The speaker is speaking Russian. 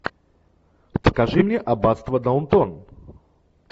покажи мне аббатство даунтон